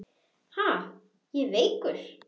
Ha, ég veikur!